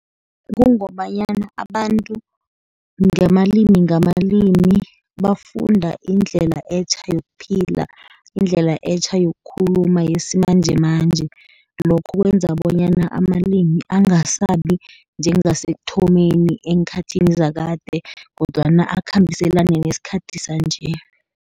Kungombanyana abantu ngamalimi ngamalimi, bafunda indlela etjha yokuphila, indlela etjha yokukhuluma yesimanjemanje. Lokho kwenza bonyana amalimi angasabi njengasekuthomeni eenkhathini zakade, kodwana akhambiselane nesikhathini sanje.